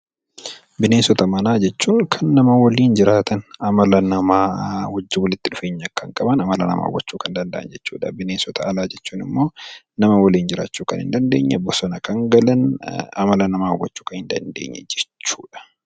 Bineensota manaa jechuun kan nama waliin jiraatan, amala namaa wajjin walitti dhufeenya kan qaban, amala namaa hubachuu kan danda'an jechuu dha. Bineensota alaa jechuun immoo nama waliin jiraachuu kan hin dandeenye, bosona kan galan, amala namaa hubachuu kan hin dandeenye jechuu dha.